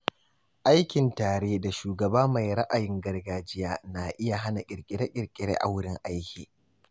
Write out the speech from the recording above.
Aikin tare da shugaba mai ra’ayin gargajiya na iya hana kirkire-kirkire a wurin aiki.